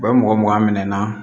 U bɛ mɔgɔ mugan minɛ na